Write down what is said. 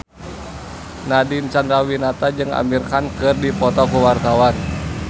Nadine Chandrawinata jeung Amir Khan keur dipoto ku wartawan